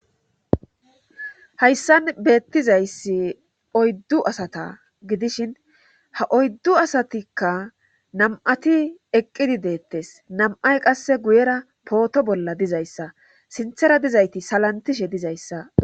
hayssan beettizayssi oyddu asata gidishin ha oyddu asatikka nam7ati eqqidi deettes nam7ay qasse guyera pooto bolla dizayssa sinthera dizayti salantishe dizayssa